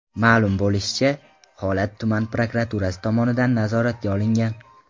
Ma’lum bo‘lishicha, holat tuman prokuraturasi tomonidan nazoratga olingan.